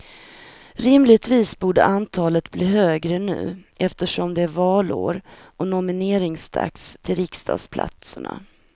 Rimligtvis borde antalet bli högre nu eftersom det är valår och nomineringsdags till riksdagsplatserna.